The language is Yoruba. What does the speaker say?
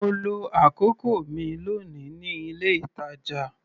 Mo lo àkókò mi lónìí ní ilé-ìtàjà.